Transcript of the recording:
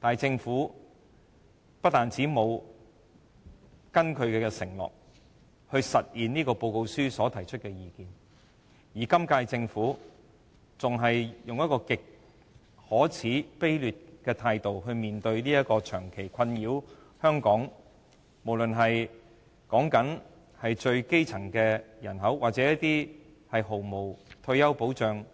但是，政府不單沒有根據承諾實現該報告書提出的建議，今屆政府更以極可耻和卑劣的態度來面對這項長期困擾香港最基層人口或沒有退休保障